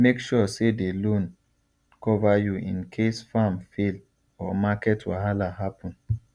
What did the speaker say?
make sure say the loan cover you in case farm fail or market wahala happen